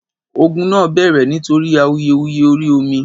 ògún nà bẹrẹ nítorí awuyewuye orí omi